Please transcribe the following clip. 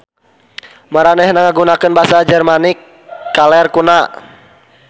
Maranehna ngagunakeun basa Jermanik Kaler kuna.